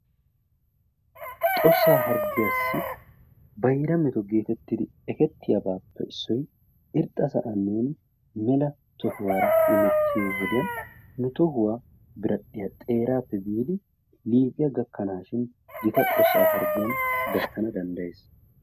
Xossaa harggiyassi bayra meto geetettidi ekettiyabaappe issoy, irxxa sa'aani mela tohuwa hemettiyo saatiyani nu tohuwa biradhdhiyappe biidi liiphphiya gakkanaashin gita xossaa harggiyan gattana danddayees.